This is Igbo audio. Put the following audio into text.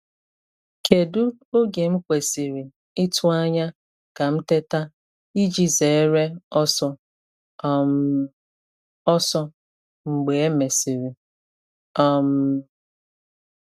Kedu oge m kwesịrị ịtụ anya ka m teta iji zere ọsọ um ọsọ mgbe e mesịrị? um